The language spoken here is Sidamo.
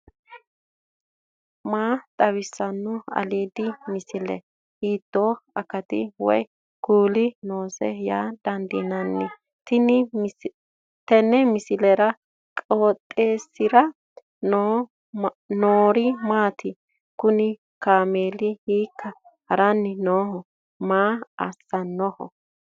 maa xawissanno aliidi misile ? hiitto akati woy kuuli noose yaa dandiinanni tenne misilera? qooxeessisera noori maati ? kuni kaameli hiikka haranni no maa assannoho